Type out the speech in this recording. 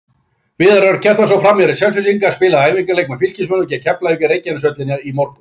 Viðar Örn Kjartansson, framherji Selfyssinga, spilaði æfingaleik með Fylkismönnum gegn Keflavík í Reykjaneshöllinni í morgun.